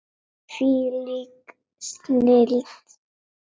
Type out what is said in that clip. Hvílík snilld!